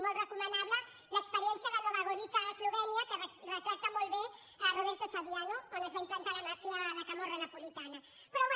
molt recomanable l’experiència de nova gorica a eslovènia que retrata molt bé roberto saviano on es va implantar la màfia la camorra napolitana però bé